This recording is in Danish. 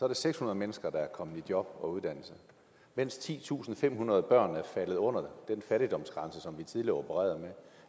det seks hundrede mennesker der er kommet i job og uddannelse mens titusinde og femhundrede børn er faldet under den fattigdomsgrænse som vi tidligere opererede med